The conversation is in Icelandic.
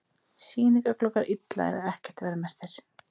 Sýningargluggar illa eða ekki verðmerktir